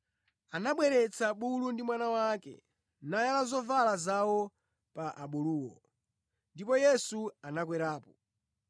Anabweretsa bulu ndi mwana wake, nayala zovala zawo pa abuluwo, ndipo Yesu anakwerapo.